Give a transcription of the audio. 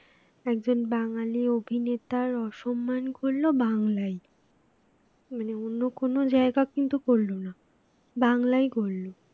একজন বাঙালি অভিনেতার অসম্মান করলো বাংলায় মানে অন্য কোন জায়গা কিন্তু করলো না বাংলায় করল